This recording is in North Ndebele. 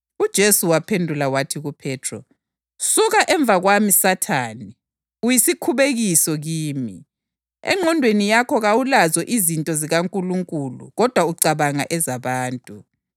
UJesu wasesithi kubafundi bakhe, “Nxa ekhona ofuna ukungilandela, kazidele athathe isiphambano sakhe angilandele.